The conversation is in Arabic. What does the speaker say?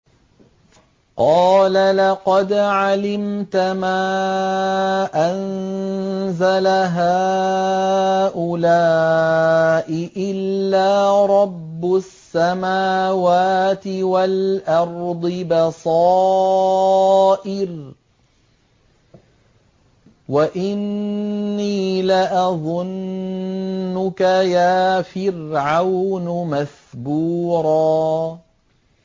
قَالَ لَقَدْ عَلِمْتَ مَا أَنزَلَ هَٰؤُلَاءِ إِلَّا رَبُّ السَّمَاوَاتِ وَالْأَرْضِ بَصَائِرَ وَإِنِّي لَأَظُنُّكَ يَا فِرْعَوْنُ مَثْبُورًا